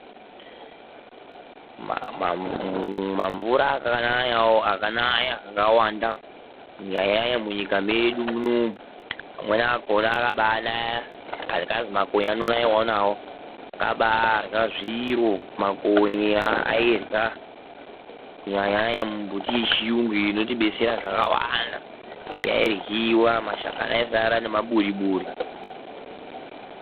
Mamvura akanaya akawanda munyika mwedu munomu. Amweni akona akabaanaya akazi makonye anonaiwawo nawo. Makonye akabaarya zviro. Makonye airya kunyanya nyanya mimbiti yechiyungu inotibatsira zvakawanda yairyiwa mashakani aisara nemaburi buri.